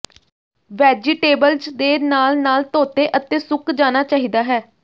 vegetables ਦੇ ਨਾਲ ਨਾਲ ਧੋਤੇ ਅਤੇ ਸੁੱਕ ਜਾਣਾ ਚਾਹੀਦਾ ਹੈ